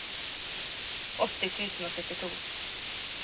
åtti tusen og syttito